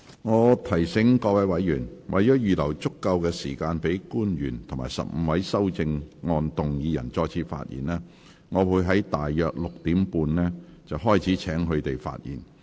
我提醒委員，為了預留足夠時間給官員及15位修正案動議人再次發言，我會於今天大約6時30分開始請他們發言。